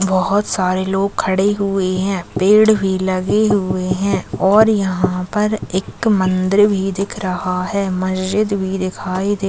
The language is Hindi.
बहुत सारे लोग खड़े हुए है पेड़ भी लगी हुए है और यहाँ पर एक मंदिर भी दिख रहा है मस्जिद भी दिखाई दे--